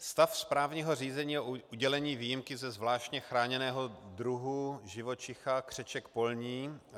Stav správního řízení o udělení výjimky ze zvláště chráněného druhu živočicha křeček polní.